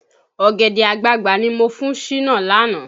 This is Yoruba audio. Ọ̀gẹ̀dẹ̀ àgbagbà ni mo fún Ṣínà lánàá